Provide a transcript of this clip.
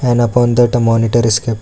and upon that monitor is kept--